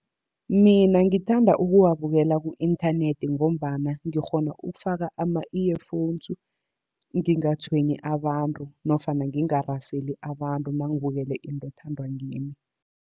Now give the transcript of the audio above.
Mina ngithanda ukuwabukela ku-inthanethi ngombana, ngikghona ukufaka ama-earphones ngingatshwenyi abantu nofana ngingaraseli abantu, nangibukele into ethandwa ngimi.